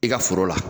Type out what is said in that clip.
I ka foro la